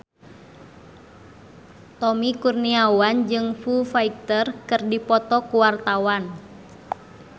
Tommy Kurniawan jeung Foo Fighter keur dipoto ku wartawan